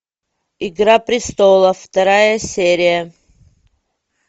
игра престолов вторая серия